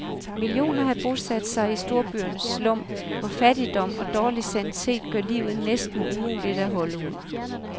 Millioner har bosat sig i storbyernes slum, hvor fattigdom og dårlig sanitet gør livet næsten umuligt at holde ud.